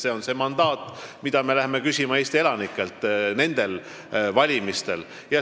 See on see mandaat, mida me läheme küsima Eesti elanikelt nendel valimistel.